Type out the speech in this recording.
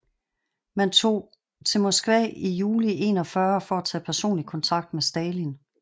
Man tog til Moskva i juli 1941 for at tage personlig kontakt med Stalin